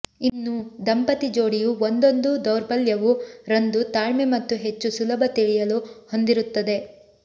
ಇನ್ನೂ ದಂಪತಿ ಜೋಡಿಯು ಒಂದೊಂದು ದೌರ್ಬಲ್ಯವು ರಂದು ತಾಳ್ಮೆ ಮತ್ತು ಹೆಚ್ಚು ಸುಲಭ ತಿಳಿಯಲು ಹೊಂದಿರುತ್ತದೆ